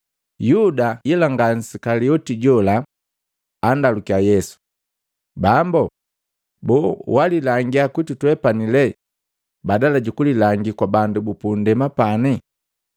Yuda nga nsikalioti jola, andaluki Yesu, “Bambu, boo walilangia kwitu twepani lee badala jukulilangi kwa bandu bupunndema pane?”